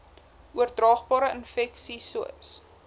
oordraagbare infeksies sois